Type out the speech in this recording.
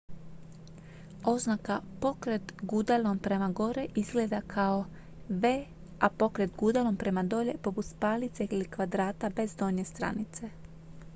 "oznaka "pokret gudalom prema gore" izgleda kao v a "pokret gudalom prema dolje" poput spajalice ili kvadrata bez donje stranice.